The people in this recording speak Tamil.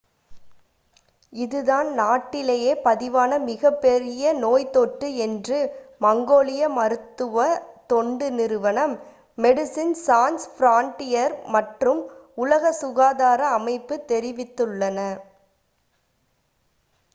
இது தான் நாட்டிலேயே பதிவான மிக பெரிய நோய் தொற்று என்று மங்கோலிய மருத்துவ தொண்டு நிறுவனம் மெடிசின் சான்ஸ் ஃபிரான்டியர்ஸ் மற்றும் உலக சுகாதார அமைப்பு தெரிவித்துள்ளன